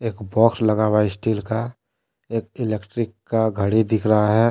Box लगा हुआ है स्टील का एक इलेक्ट्रिक का घड़ी दिख रहा है।